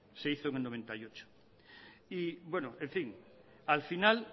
se hizo en el noventa y ocho bueno en fin al final